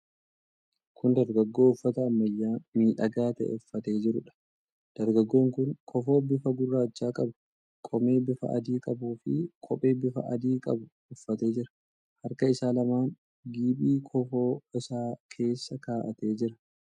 Kun dargaggoo uffata ammayyaa miidhagaa ta'e uffatee jiruudha. Dargaggoon kun kofoo bifa gurraacha qabu, qomee bifa adii qabuu fi kophee bifa adii qabu uffatee jira. Harka isaa lamaan giphii kofoo isaa keessa kaa'atee jira.